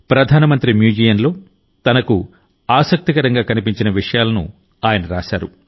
ప్రధాన మంత్రి మ్యూజియంలో తనకు ఆసక్తికరంగా కనిపించిన విషయాలను ఆయన రాశారు